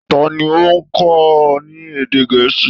Ta ni ó ń kọ ọ ní èdè Gẹ̀ẹ́sì?